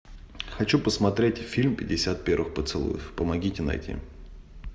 хочу посмотреть фильм пятьдесят первых поцелуев помогите найти